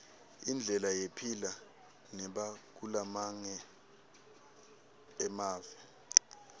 indlela yephila nabakulamange emave